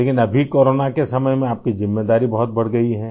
लेकिन अभी कोरोना के समय में आपकी ज़िम्मेदारी बहुत बढ़ गई है